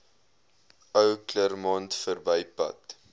ou claremont verbypad